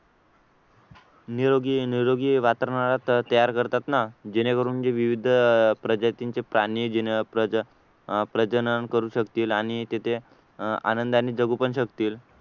निरोगी निरोगी वातावरणात तयार करतात ना जेणेकरून जे विविध प्रजातींचे प्राण्यांचे नाव अह प्रजनन करू शकतील आणि तिथे अह आनंदाने जगू पण शकतील